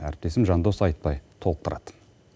әріптесім жандос айтбай толықтырады